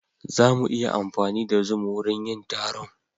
Za mu iya amfani da zoom wurin yin taron.